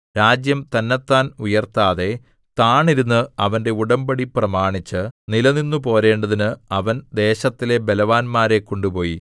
രാജ്യം തന്നത്താൻ ഉയർത്താതെ താണിരുന്ന് അവന്റെ ഉടമ്പടി പ്രമാണിച്ച് നിലനിന്നുപോരേണ്ടതിന് അവൻ ദേശത്തിലെ ബലവാന്മാരെ കൊണ്ടുപോയി